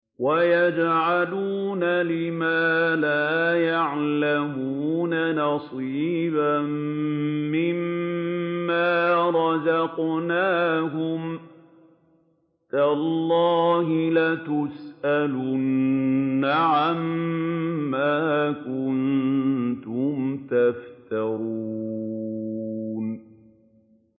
وَيَجْعَلُونَ لِمَا لَا يَعْلَمُونَ نَصِيبًا مِّمَّا رَزَقْنَاهُمْ ۗ تَاللَّهِ لَتُسْأَلُنَّ عَمَّا كُنتُمْ تَفْتَرُونَ